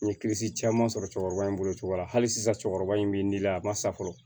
N ye kilisi caman sɔrɔ cɛkɔrɔba in bolociyɔrɔ la hali sisan cɛkɔrɔba in bɛ n'i la a ma sa fɔlɔ